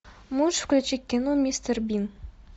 можешь включить кино мистер бин